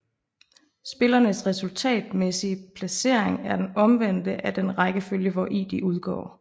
Spillernes resultatmæssige placering er den omvendte af den rækkefølge hvori de udgår